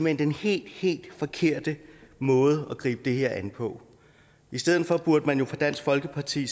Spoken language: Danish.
hen den helt helt forkerte måde at gribe det her an på i stedet for burde dansk folkeparti